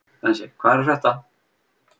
Bensi, hvað er að frétta?